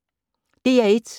DR1